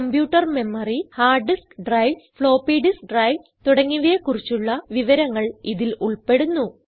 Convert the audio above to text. computer memory hard disk drives floppy disk drives തുടങ്ങിയവയെ കുറിച്ചുള്ള വിവരങ്ങൾ ഇതിൽ ഉൾപ്പെടുന്നു